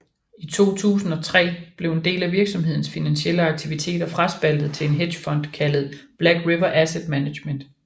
I 2003 blev en del af virksomhedens finansielle aktiviteter fraspaltet til en hedgefond kaldet Black River Asset Management